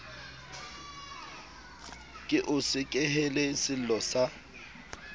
ke o sekehele sello sa